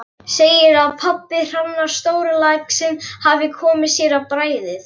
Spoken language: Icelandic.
Segir að pabbi Hrannar, stórlaxinn, hafi komið sér á bragðið.